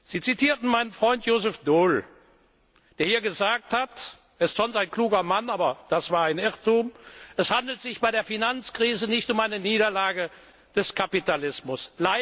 haben. Sie zitierten meinen Freund Joseph Doyle, der hier gesagt hat er ist sonst ein kluger Mann, aber das war ein Irrtum es handelte sich bei der Finanzkrise nicht um eine Niederlage des Kapitalismus.